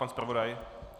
Pan zpravodaj?